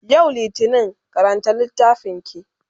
yau littani karanta littafinki!